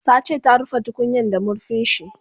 Tace ta rufe tukunyan da marfinshi